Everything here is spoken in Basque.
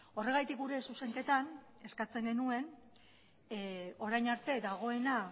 horregatik gure zuzenketan eskatzen genuen orain arte dagoena